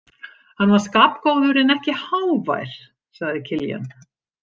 Hann var skapgóður en ekki hávær, sagði Kiljan.